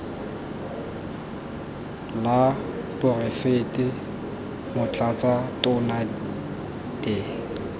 la poraefete motlatsa tona de